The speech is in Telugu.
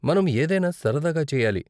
మనం ఏదైనా సరదాగా చేయాలి.